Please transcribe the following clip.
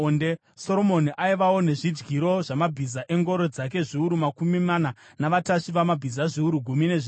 Soromoni aivawo nezvidyiro zvamabhiza engoro dzake zviuru makumi mana navatasvi vamabhiza zviuru gumi nezviviri.